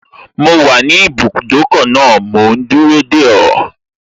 Mo wà ní ibùdókọ̀ náà mò ún dúró dè ọ́